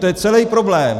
To je celý problém.